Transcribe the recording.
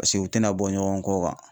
Paseke u tɛna bɔ ɲɔgɔn kɔkan.